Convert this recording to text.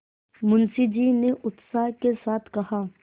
मुंशी जी ने उत्साह के साथ कहा